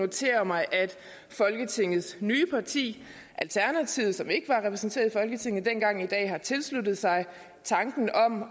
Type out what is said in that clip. notere mig at folketingets nye parti alternativet som ikke var repræsenteret i folketinget dengang i dag har tilsluttet sig tanken om at